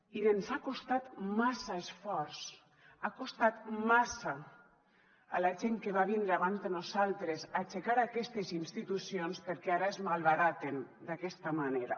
i ens ha costat massa esforç ha costat massa a la gent que va vindre abans de nosaltres aixecar aquestes institucions perquè ara es malbaraten d’aquesta manera